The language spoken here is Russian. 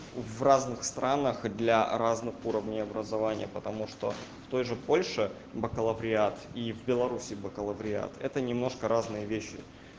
в разных странах для разных уровней образования потому что в той же польше бакалавриат и в белоруссии бакалавриат это немножко разные вещи